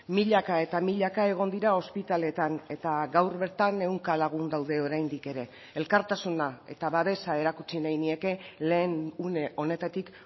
milaka eta milaka egon dira ospitaletan eta gaur bertan ehunka lagun daude oraindik ere elkartasuna eta babesa erakutsi nahi nieke lehen une honetatik